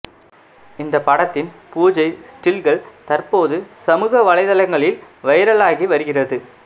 இந்த படத்தின் பூஜை ஸ்டில்கள் தற்போது சமூக வலைதளங்களில் வைரலாகி வருகிறது